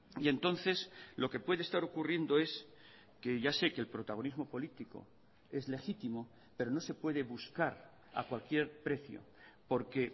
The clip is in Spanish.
y entonces lo que puede estar ocurriendo es que ya sé que el protagonismo político es legítimo pero no se puede buscar a cualquier precio porque